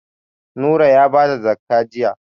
Nura ya ba da zakka jiya.